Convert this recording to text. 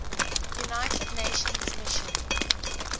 united nations mission